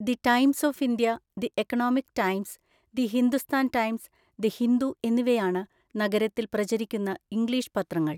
The Times of India, the Economic Times, the Hindustan Times, the Hindu എന്നിവയാണ് നഗരത്തിൽ പ്രചരിക്കുന്ന English പത്രങ്ങൾ.